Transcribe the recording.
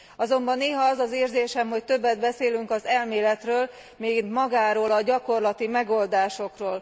Azonban néha az az érzésem, hogy többet beszélünk az elméletről, mint magáról a gyakorlati megoldásokról.